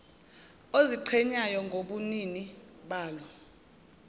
oziqhenyayo ngobunini balo